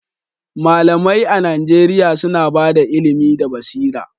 Malamai a Najeriya suna ba da ilimi da basira